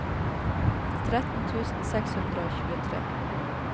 tretten tusen seks hundre og tjuetre